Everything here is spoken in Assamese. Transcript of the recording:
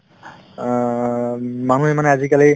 অ, উম মানুহে মানে আজিকালি